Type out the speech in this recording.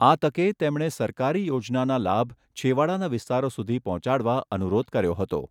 આ તકે તેમણે સરકારી યોજનાના લાભ છેવાડાના વિસ્તારો સુધી પહોંચાડવા અનુરોધ કર્યો હતો.